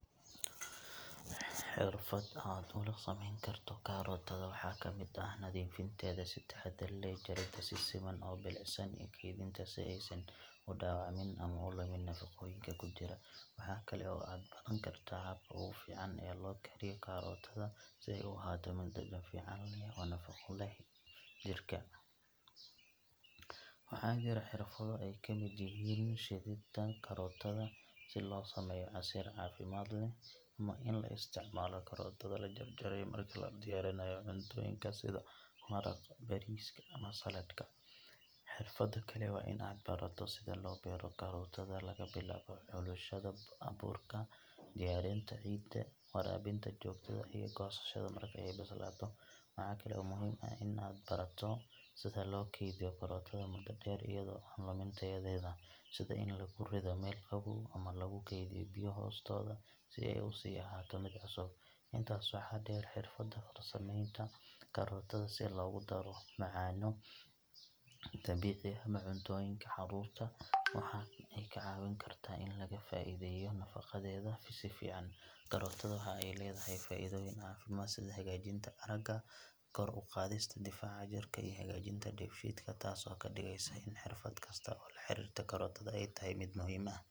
Xirfad aad ula sameyn karto karootada waxaa ka mid ah nadiifinteeda si taxaddar leh, jaridda si siman oo bilicsan, iyo kaydinteeda si aysan u dhaawacmin ama u lumin nafaqooyinka ku jira. Waxa kale oo aad baran kartaa habka ugu fiican ee loo kariyo karootada si ay u ahaato mid dhadhan fiican leh oo nafaqo u leh jirka. Waxaa jira xirfado ay ka mid yihiin shiididda karootada si loo sameeyo casiir caafimaad leh, ama in la isticmaalo karootada la jarjaray marka la diyaarinayo cuntooyinka sida maraqa, bariiska, ama saladhka. Xirfadda kale waa in aad barato sida loo beero karootada, laga bilaabo xulashada abuurka, diyaarinta ciidda, waraabinta joogtada ah, iyo goosashada marka ay bislaato. Waxa kale oo muhiim ah in aad barato sida loo keydiyo karootada muddo dheer iyadoo aan lumin tayadeeda, sida in lagu rido meel qabow ama lagu keydiyo biyo hoostooda si ay u sii ahaato mid cusub. Intaas waxaa dheer, xirfadda farsameynta karootada si loogu daro macaanno dabiici ah ama cuntooyinka caruurta waxa ay kaa caawin kartaa in laga faa’iideeyo nafaqadeeda si fiican. Karootada waxa ay leedahay faa’iidooyin caafimaad sida hagaajinta aragga, kor u qaadista difaaca jirka, iyo hagaajinta dheefshiidka, taas oo ka dhigaysa in xirfad kasta oo la xiriirta karootada ay tahay mid muhiim ah.